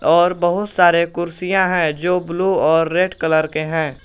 और बहोत सारे कुर्सियां है जो ब्लू और रेड कलर के हैं।